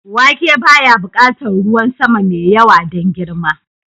Wake baya buƙatar ruwan sama mai yawa don girma.